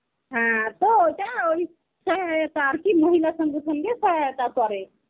হ্যাঁ, তো ওটা ওই মহিলা সংগঠনকে সহায়তা করে.